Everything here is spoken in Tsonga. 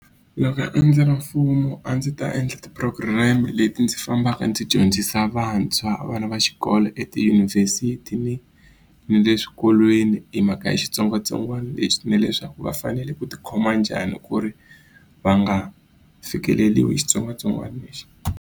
Loko a ndzi ri mfumo a ndzi ta endla ti-program leti ndzi fambaka ndzi dyondzisa vantshwa vana va xikolo etiyunivhesiti ni le xikolweni hi mhaka ya xitsongwatsongwana lexi ni leswaku va fanele ku ti khoma njhani ku ri va nga fikeleliwi xitsongwatsongwana lexi.